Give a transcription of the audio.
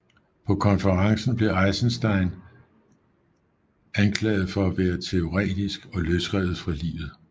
På konferencen blev Eisenstein blev anklaget for at være teoretisk og løsrevet fra livet